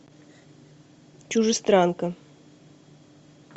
чужестранка